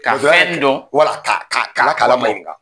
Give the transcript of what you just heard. wala ka ka ka